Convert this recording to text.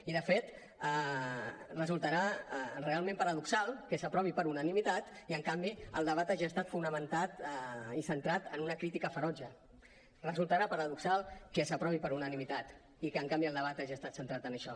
i de fet resultarà realment paradoxal que s’aprovi per unanimitat i en canvi el debat hagi estat fonamentat i centrat en una crítica ferotge resultarà paradoxal que s’aprovi per unanimitat i que en canvi el debat hagi estat centrat en això